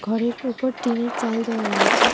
ঘরের উপর টিনের চাল দেওয়া রয়েছে ।